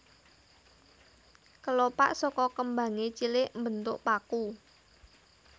Kelopak saka kembangé cilik mbentuk paku